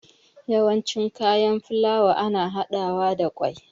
Yawanci kayan filawa ana haɗawa da ƙwai